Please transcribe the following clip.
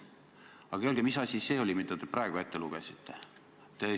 Aga öelge, mis asi see oli, mille te praegu ette lugesite!